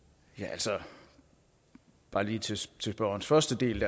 altså bare lige til til spørgerens første del